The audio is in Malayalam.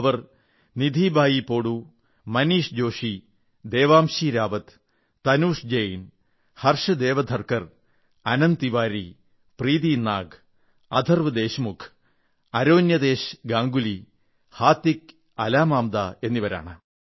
അവർ നിധി ബായിപ്പോടു മോനിഷ് ജോഷി ദേവാംശി റാവത് തനുഷ് ജെയിൻ ഹർഷ് ദേവ്ധർക്കർ അനന്ത് തിവാരി പ്രീതി നാഗ് അഥർവ്വ് ദേശമുഖ് ആരണ്യതേശ് ഗാംഗുലി ഹൃതിക് അലാമാംദാ എന്നിവരാണ്